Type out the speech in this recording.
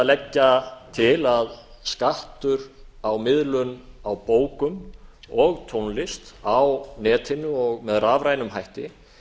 leggja til að skattur á miðlun á bókum og tónlist á netinu og með rafrænum hætti